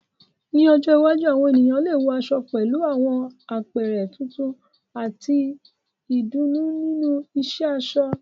Ní ọjọ́ iwájú, àwọn ènìyàn lè wọ aṣọ pẹ̀lú àwọn àpẹẹrẹ tuntun àti ìdùnnú nínú ìṣe aṣọ.